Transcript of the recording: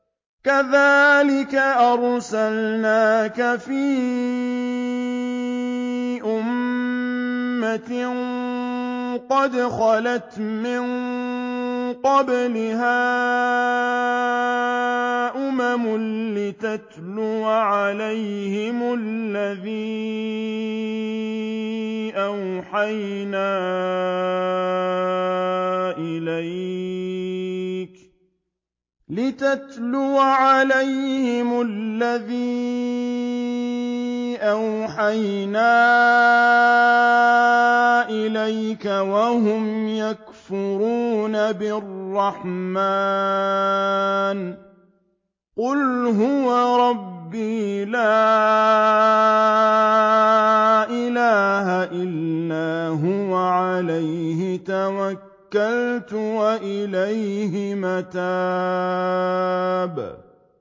كَذَٰلِكَ أَرْسَلْنَاكَ فِي أُمَّةٍ قَدْ خَلَتْ مِن قَبْلِهَا أُمَمٌ لِّتَتْلُوَ عَلَيْهِمُ الَّذِي أَوْحَيْنَا إِلَيْكَ وَهُمْ يَكْفُرُونَ بِالرَّحْمَٰنِ ۚ قُلْ هُوَ رَبِّي لَا إِلَٰهَ إِلَّا هُوَ عَلَيْهِ تَوَكَّلْتُ وَإِلَيْهِ مَتَابِ